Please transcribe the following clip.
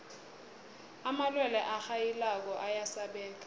amalwelwe arhayilako ayasabeka